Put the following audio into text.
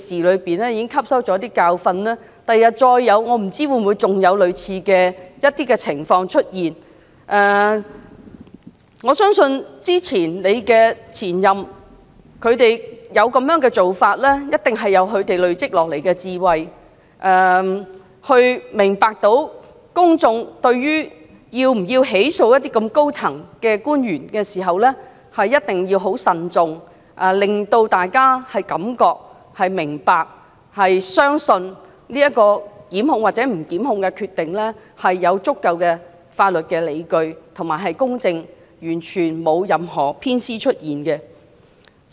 我不知道日後會否再有類似的情況出現。我相信數位前任律政司司長之所以會有這種做法，必是基於一些前人累積下來的智慧，明白到就是否起訴某些高層官員時，必須慎重行事，考慮公眾的觀感，令大家信服其所作出檢控與否的決定，是公正及有足夠的法律理據支持，完全沒有任何偏袒。